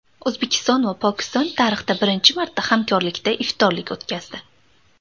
O‘zbekiston va Pokiston tarixda birinchi marta hamkorlikda iftorlik o‘tkazdi.